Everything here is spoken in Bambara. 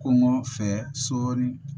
Kɔngɔ fɛ sɔɔni